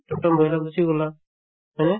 তম তমত বহি কিনে গুচি গলা হয়নে